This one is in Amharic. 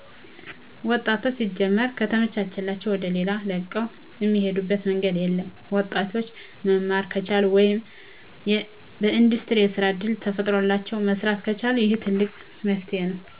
ወጣቶች ሲጀመር ከተመቻቸላዉ ወደሌላ ለቀዉ እሚሄዱበት መንገድ የለም። ወጣቶች መማር ከቻሉ ወይም በኢንዱስትሪው የስራ እድል ተፈጥሮላቸው መስራት ከቻሉ ይህ ትልቅ መፍትሄ ነው።